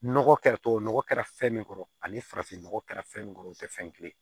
Nɔgɔ kɛra tubabu nɔgɔ kɛra fɛn min kɔrɔ ani farafin nɔgɔ kɛra fɛn min kɔrɔ o tɛ fɛn kelen ye